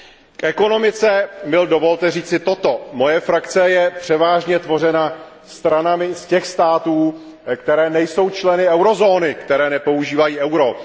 K ekonomice mi dovolte říci toto Moje frakce je převážně tvořena stranami z těch států, které nejsou členy eurozóny, které nepoužívají euro.